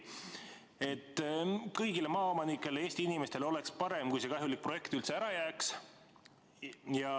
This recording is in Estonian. Kõigile maaomanikele, Eesti inimestele oleks parem, kui see kahjulik projekt üldse ära jääks.